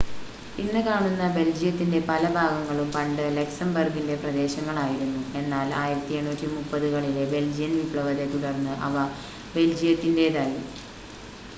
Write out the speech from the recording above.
ഇന്ന് കാണുന്ന ബെൽജിയത്തിൻ്റെ പല ഭാഗങ്ങളും പണ്ട് ലക്സംബർഗിൻ്റെ പ്രദേശങ്ങൾ ആയിരുന്നു എന്നാൽ 1830 കളിലെ ബെൽജിയൻ വിപ്ലവത്തെ തുടർന്ന് അവ ബെൽജിയത്തിൻ്റേതായി